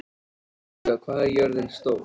Estiva, hvað er jörðin stór?